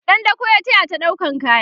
ɗan dako ya tayata ɗaukan kaya